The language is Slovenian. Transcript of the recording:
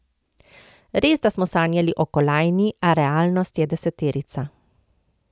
Resda smo sanjali o kolajni, a realnost je deseterica.